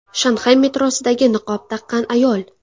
Shanxay metrosidagi niqob taqqan ayol.